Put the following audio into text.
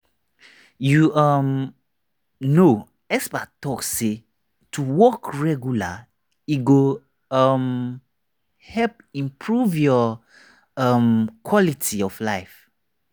you um know experts talk say to walk regular e go um help improve your um quality of life.